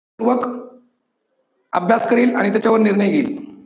पूरक अभ्यास करील आणि त्याच्यावर निर्णय घेईल.